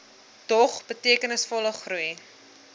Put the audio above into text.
dog betekenisvolle groei